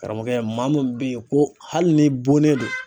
Karamɔgɔkɛ maa mun bɛ ye ko hali ni bonnen don